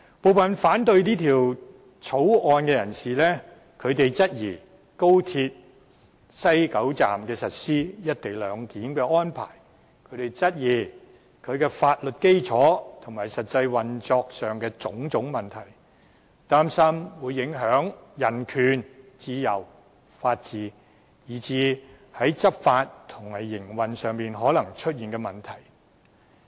部分人士反對這項《廣深港高鐵條例草案》，質疑在高鐵西九站實施"一地兩檢"的安排；質疑相關法律基礎和實際運作上的種種問題；擔心會影響人權、自由、法治，以至在執法和營運上可能出現的問題。